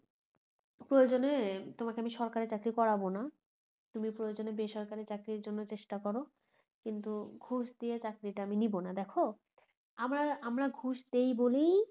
প্রয়োজনে তোমাকে আমি সরকারি চাকরি করাব না তুমি প্রয়োজনে বেসরকারি চাকরির জন্য চেষ্টা করো কিন্তু ঘুষ দিয়ে চাকরিটা আমি নিবোনা দেখো আমরা আমরা ঘুষ দেই বলেই